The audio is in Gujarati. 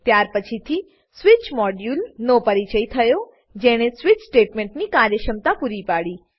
ત્યાર પછીથી સ્વિચ મોડ્યુલ સ્વીચ મોડ્યુલ નો પરિચય થયો જેણે સ્વિચ સ્ટેટમેંટની કાર્યક્ષમતા પૂરી પાડી